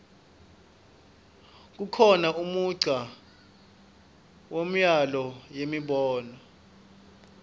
kukhona umdza wemyano yenimoto